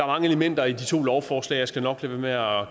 mange elementer i de to lovforslag og jeg skal nok lade være